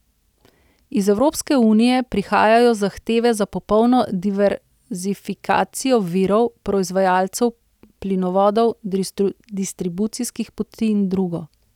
Iz Evropske unije prihajajo zahteve za popolno diverzifikacijo virov, proizvajalcev, plinovodov, distribucijskih poti in drugo.